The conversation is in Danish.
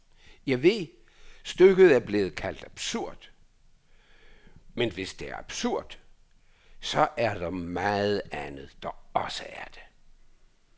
Jeg ved, stykket er blevet kaldt absurd, men hvis det er absurd, så er der meget andet, der også er det.